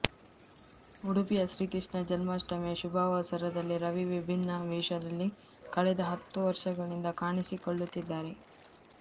ಉಡುಪಿಯ ಶ್ರೀಕೃಷ್ಣ ಜನ್ಮಾಷ್ಟಮಿಯ ಶುಭಾವಸರದಲ್ಲಿ ರವಿ ವಿಭಿನ್ನ ವೇಷದಲ್ಲಿ ಕಳೆದ ಹತ್ತು ವರುಷಗಳಿಂದ ಕಾಣಿಸಿಕೊಳ್ಳುತ್ತಿದ್ದಾರೆ